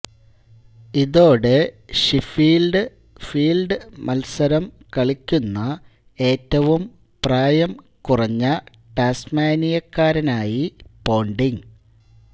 ഇതോടെ Sheffield field മത്സരം കളിക്കുന്ന ഏറ്റവും പ്രായം കുറഞ്ഞ ടാസ്മാനിയക്കാരനായി പോണ്ടിങ്